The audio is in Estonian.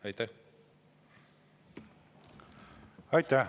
Aitäh!